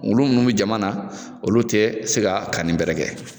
Olu munnu bɛ jamana na olu te se ka kani bɛrɛ kɛ